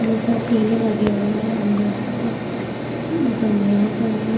बहोत सारे टिने लगे हुए हैं अंदर की तरफ बहोत अंधेरा सा है।